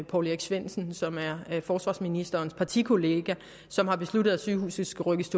poul erik svendsen som er forsvarsministerens partikollega som har besluttet at sygehuset skal rykkes